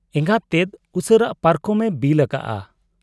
ᱮᱸᱜᱟᱛ ᱛᱮᱫ ᱩᱥᱟᱹᱨᱟ ᱯᱟᱨᱠᱚᱢ ᱮ ᱵᱤᱞ ᱟᱠᱟᱜ ᱟ ᱾